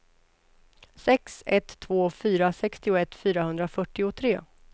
sex ett två fyra sextioett fyrahundrafyrtiotre